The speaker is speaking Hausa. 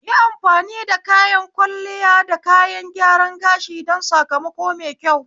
Yi amfani da kayan kwalliya da kayan gyaran gashi don sakamako mai kyau